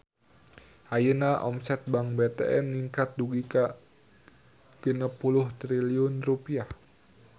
Ayeuna omset Bank BTN ningkat dugi ka 60 triliun rupiah